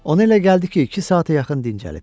Ona elə gəldi ki, iki saata yaxın dincəlib.